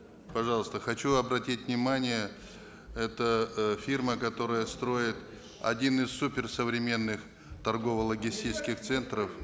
пожалуйста хочу обратить внимание это э фирма которая строит один из суперсовременных торгово логистических центров